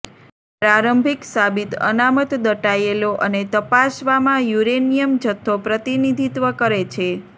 પ્રારંભિક સાબિત અનામત દટાયેલો અને તપાસવામાં યુરેનિયમ જથ્થો પ્રતિનિધિત્વ કરે છે